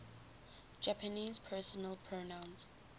japanese personal pronouns